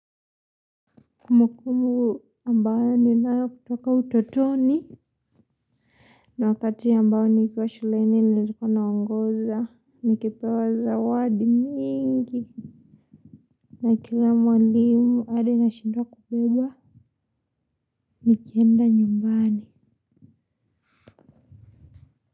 Kumbukumbu ambayo ninayo kutoka utotoni na wakati ambayo nikiwa shuleni nilikuwa naongoza nikipewa zawadi nyingi na kila mwalimu hadi nashindwa kubeba nikienda nyumbani.